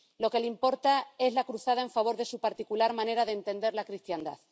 Lo que les importa es la cruzada en favor de su particular manera de entender la cristiandad.